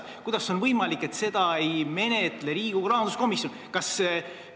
Kuidas on võimalik, et seda ei menetle Riigikogu rahanduskomisjon?